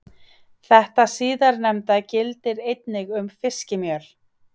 Þetta síðastnefnda gildir einnig um fiskimjöl.